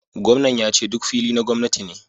Gwamnan yace duk fili na gwamnati ne